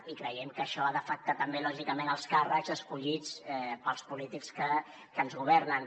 i creiem que això ha d’afectar també lògicament els càrrecs escollits pels polítics que ens governen